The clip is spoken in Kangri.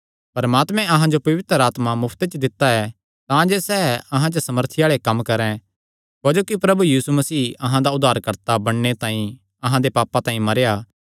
परमात्मे अहां जो पवित्र आत्मा मुफ्ते च दित्ता ऐ तांजे सैह़ अहां च सामर्थी आल़े कम्म करैं क्जोकि प्रभु यीशु मसीह अहां दा उद्धारकर्ता बणने तांई अहां दे पापां तांई मरेया